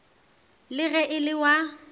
le ge e le wa